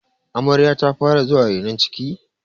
amaryar ta fara zuwa renon ciki?